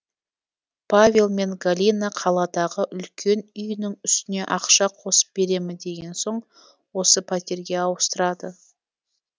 павел мен галина қаладағы үлкен үйінің үстіне ақша қосып беремін деген соң осы пәтерге ауыстырады